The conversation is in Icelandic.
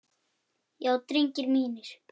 Já drengir mínir.